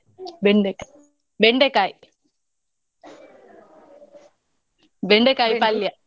ಬೆಂಡೆಕಾಯಿ ಬೆಂಡೆಕಾಯಿ ಬೆಂಡೆಕಾಯಿ ಪಲ್ಯಾ.